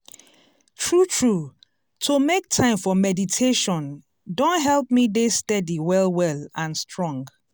true true to make time for meditation don help me dey steady well well and strong.